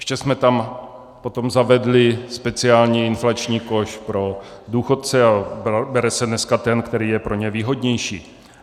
Ještě jsme tam potom zavedli speciální inflační koš pro důchodce a bere se dneska ten, který je pro ně výhodnější.